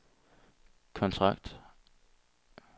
kontrakt